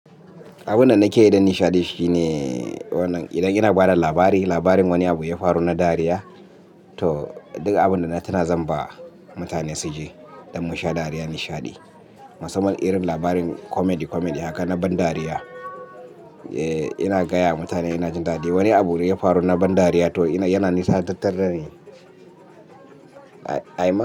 Abunda nake yi dan nishaɗi shine wannan idan ina ba da labari, labarin wani abu yafaru na dariya. To duk abinda na tuna zan ba mutane su ji don mu sha dariya nishaɗi. Musamman irin labarin comedy comedy haka na ban dariya. Eh ina gaya mutane ina jin daɗi. Wani abu ne yafaru na ban dariya to yana nishaɗantar da ni. Ai ai.